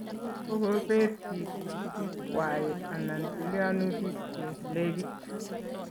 kokopet piik sikik kwai anan tilionutik che legit